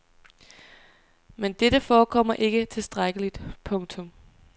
Men dette forekommer ikke tilstrækkeligt. punktum